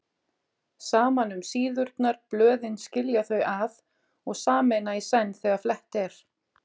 Saman um síðurnar blöðin skilja þau að og sameina í senn þegar flett er